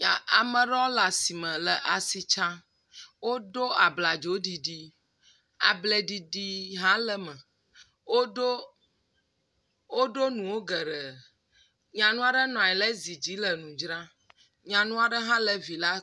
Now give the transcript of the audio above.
Ame aɖewo le asi me le asi tsam. Woɖo abladzo ɖiɖi, ablɛ ɖiɖi hã le eme. Wo ɖo wo ɖo nuwo geɖe. Nyɔnu aɖe nɔ nyi ɖe zi dzi le nu dzram. Nyɔnu aɖe hã le vi ɖe.